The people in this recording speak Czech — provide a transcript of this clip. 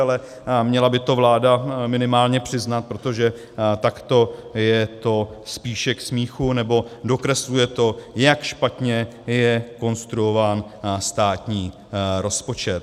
Ale měla by to vláda minimálně přiznat, protože takto je to spíše k smíchu, nebo dokresluje to, jak špatně je konstruován státní rozpočet.